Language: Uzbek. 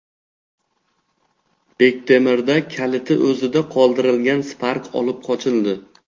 Bektemirda kaliti o‘zida qoldirilgan Spark olib qochildi.